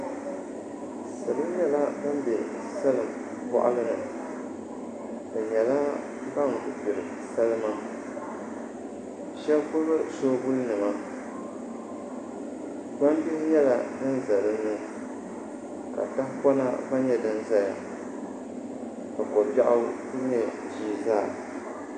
Salo nyɛla ban bɛ salin boɣali ni bi nyɛla ban gbiri salima shab gbubi soobuli nima gbambihi nyɛla din ʒɛ dinni ka tahapona gba nyɛ din ʒɛya ka kobiɛɣu n ku nyɛ ʒii zaa